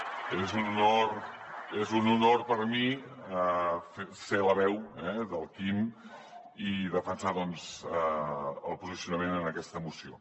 bé és un honor és un honor per a mi ser la veu del quim i defensar doncs el posicionament en aquesta moció